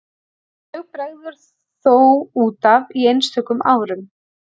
Mjög bregður þó út af í einstökum árum.